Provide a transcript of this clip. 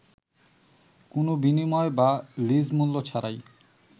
কোনো বিনিময় বা লীজ মূল্য ছাড়াই